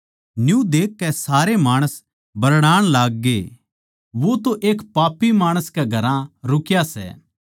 न्यू देखकै सारे माणस बरड़ाण लाग्गे वो तो एक पापी माणस कै घरां रुकरया सै